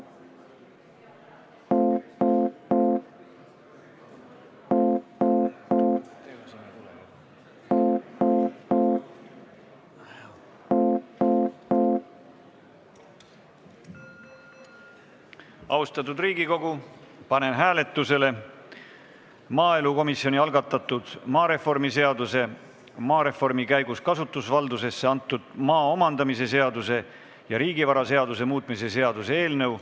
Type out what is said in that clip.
Austatud Riigikogu, panen hääletusele maaelukomisjoni algatatud maareformi seaduse, maareformi käigus kasutusvaldusesse antud maa omandamise seaduse ja riigivaraseaduse muutmise seaduse eelnõu.